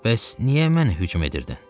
Bəs niyə mənə hücum edirdin?